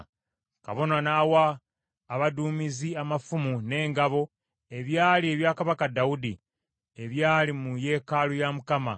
Kabona n’awa abaduumizi amafumu n’engabo ebyali ebya kabaka Dawudi, ebyali mu yeekaalu ya Mukama ,